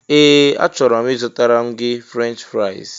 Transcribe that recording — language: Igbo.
Ee! A chọrọ m ịzụtara m gị Frenchị fraịs.